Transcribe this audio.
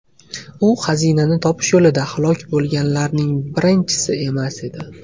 U xazinani topish yo‘lida halok bo‘lganlarning birinchisi emas edi.